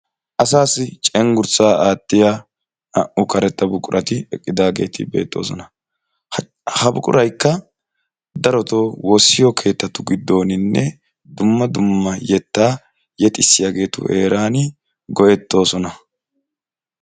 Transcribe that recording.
Asaasi cenggurssa attiya naa'u karetta buqurati eqqidageti beetosona. Ha buquraykka daroto wossiyo keettatu gidonine dumma dumma yeta yexisiyagetu heeran go'etosona.